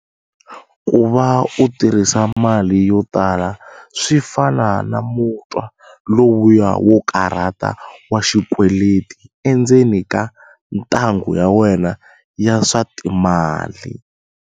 Ku va u tirhisa mali yo tala swi fana na mutwa lowuya wo karhata wa xikweleti endzeni ka 'ntanghu ya wena ya swa timali'.